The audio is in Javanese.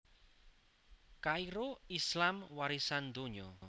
Kairo Islam warisan donya